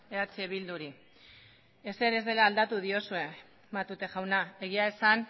eh bilduri ezer ez dela aldatu diozue matute jauna egia esan